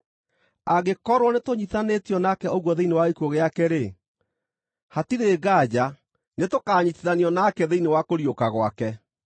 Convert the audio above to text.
Angĩkorwo nĩtũnyiitithanĩtio nake ũguo thĩinĩ wa gĩkuũ gĩake-rĩ, hatirĩ nganja nĩtũkanyiitithanio nake thĩinĩ wa kũriũka gwake.